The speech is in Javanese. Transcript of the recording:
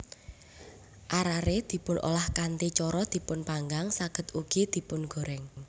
Arare dipunolah kanthi cara dipunpanggang saged ugi dipungoreng